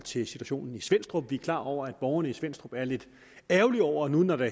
situationen i svenstrup vi er klar over at borgerne i svenstrup er lidt ærgerlige over når der